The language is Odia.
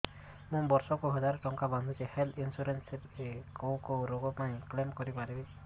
ମୁଁ ବର୍ଷ କୁ ହଜାର ଟଙ୍କା ବାନ୍ଧୁଛି ହେଲ୍ଥ ଇନ୍ସୁରାନ୍ସ ରେ କୋଉ କୋଉ ରୋଗ ପାଇଁ କ୍ଳେମ କରିପାରିବି